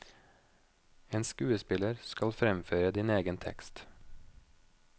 En skuespiller skal fremføre din egen tekst.